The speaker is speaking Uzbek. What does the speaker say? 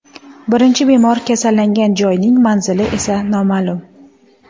Birinchi bemor kasallangan joyning manzili esa noma’lum.